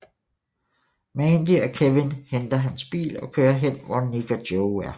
Mandy og Kevin henter hans bil og kører hen hvor Nick og Joe er